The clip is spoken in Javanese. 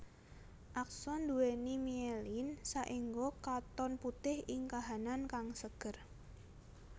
Akson nduwèni mielin saéngga katon putih ing kahanan kang seger